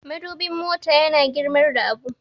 madubin mota yana girmar da abu